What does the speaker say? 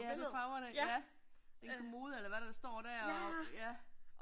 Ja det er farverne, ja. En kommode eller hvad der står der og ja